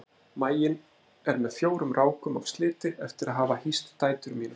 Maginn er með fjórum rákum af sliti eftir að hafa hýst dætur mínar.